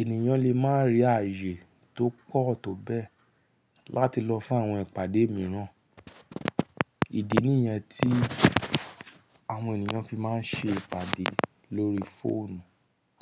ènìyàn lè má rí ààyè tó pọ̀ tó bẹ́ẹ̀ láti lọ fún àwọn ìpàdé mìíràn. Ìdí nìyẹn tí àwọn ènìyàn fi máa ń ṣe ìpàdé lórí fóònù.